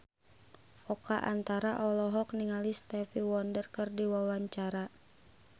Oka Antara olohok ningali Stevie Wonder keur diwawancara